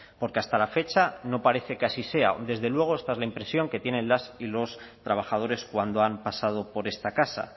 porque hasta la fecha no parece que así sea desde luego esta es la impresión que tienen las y los trabajadores cuando han pasado por esta casa